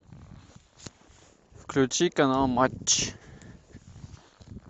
включи канал матч